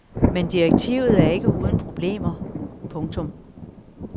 Men direktivet er ikke uden problemer. punktum